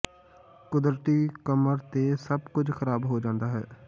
ਕੁਦਰਤੀ ਕਮਰ ਤੇ ਸਭ ਕੁਝ ਖਰਾਬ ਹੋ ਜਾਂਦਾ ਹੈ